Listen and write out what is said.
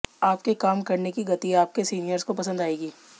आपके काम करने की गति आपके सीनियर्स को पसंद आएगी